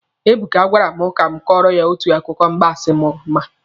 Ebuka gwara m ka m kọọrọ ya otu akụkọ mgbansi m ma.